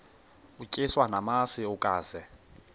utyiswa namasi ukaze